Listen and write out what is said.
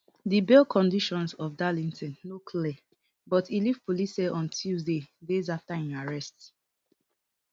di bail conditions of darlington no clear but e leave police cell on tuesday days afta im arrest